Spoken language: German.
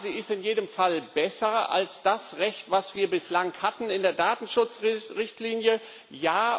Ja, sie ist in jedem Fall besser als das Recht, das wir bislang in der Datenschutzrichtlinie hatten.